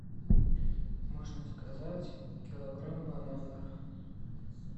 можно заказать килограмм бананов